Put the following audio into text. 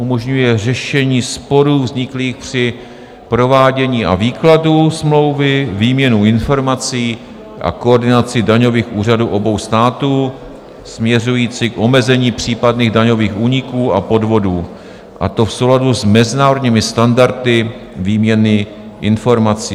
Umožňuje řešení sporů vzniklých při provádění a výkladu smlouvy, výměnu informací a koordinaci daňových úřadů obou států směřující k omezení případných daňových úniků a podvodů, a to v souladu s mezinárodními standardy výměny informací.